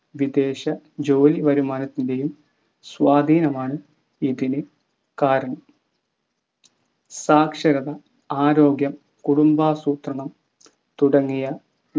വിദേശ ജോലി വരുമാനത്തിൻ്റെയും സ്വാധീനമാണ് ഇതിന് കാരണം സാക്ഷരത ആരോഗ്യം കുടുംബാസൂത്രണം തുടങ്ങിയ